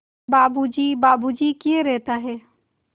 बाबू जी बाबू जी किए रहता है